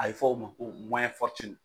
A bɛ fɔ o ma ko